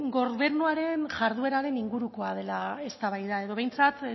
gobernuaren jardueraren ingurukoa dela eztabaida edo behintzat